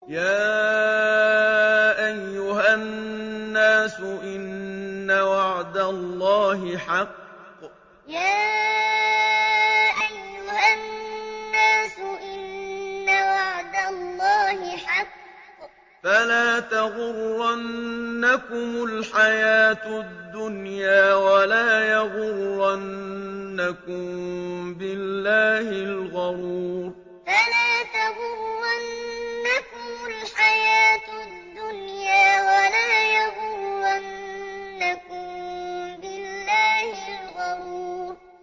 يَا أَيُّهَا النَّاسُ إِنَّ وَعْدَ اللَّهِ حَقٌّ ۖ فَلَا تَغُرَّنَّكُمُ الْحَيَاةُ الدُّنْيَا ۖ وَلَا يَغُرَّنَّكُم بِاللَّهِ الْغَرُورُ يَا أَيُّهَا النَّاسُ إِنَّ وَعْدَ اللَّهِ حَقٌّ ۖ فَلَا تَغُرَّنَّكُمُ الْحَيَاةُ الدُّنْيَا ۖ وَلَا يَغُرَّنَّكُم بِاللَّهِ الْغَرُورُ